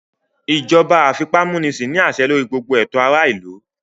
Ìjọba àfipámúnisin ní àṣẹ lórí gbogbo ètò ará ìlú